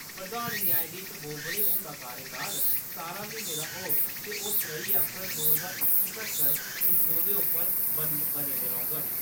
प्रधान न्यायधीश बोबड़े हुंदा कार्यकाल सतारें म्हीनें दा होग ते ओह् तरेई अप्रैल दो ज्हार इक्की तक्कर इस ओहदे उप्पर बने दे रौङन ।